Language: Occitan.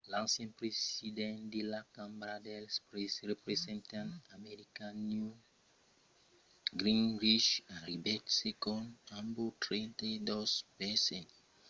l'ancian president de la cambra dels representants americana newt gingrich arribèt segond amb 32 per cent